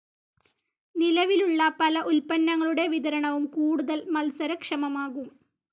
നിലവിലുള്ള പല ഉത്പന്നങ്ങളുടെ വിതരണവും കൂടുതൽ മത്സര ക്ഷമമാകും.